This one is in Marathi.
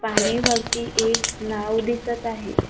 पाणी वरती एक नाव दिसत आहे.